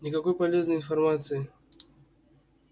никакой полезной информации